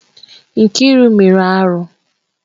Nkiru mere arụ.